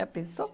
Já pensou?